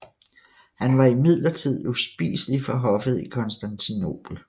Han var imidlertid uspiselig for hoffet i Konstantinopel